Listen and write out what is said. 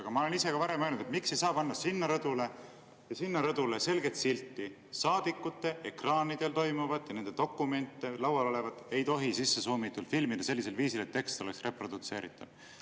Aga ma olen ka varem küsinud, miks ei saa panna sinna rõdule ja sinna rõdule selget silti: saadikute ekraanidel toimuvat ja nende dokumente, laual olevat, ei tohi suumitult filmida sellisel viisil, et tekst oleks reprodutseeritav.